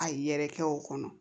A yɛrɛkɛ o kɔnɔ